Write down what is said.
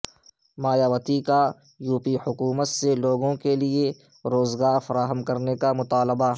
مایاوتی کا یوپی حکومت سے لوگوں کیلئے روزگار فراہم کرنے کا مطالبہ